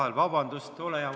Palun vabandust!